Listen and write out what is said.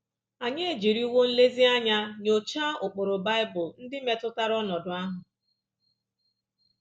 Ànyị ejiriwo nlezianya nyochaa ụkpụrụ Bible ndị metụtara ọnọdụ ahụ?